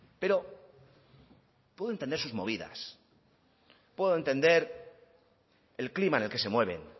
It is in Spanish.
pero puedo entender sus movidas puedo entender el clima en el que se mueven